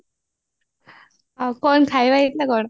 ଆଉ କଣ ଖାଇବା ହେଇଥିଲା କଣ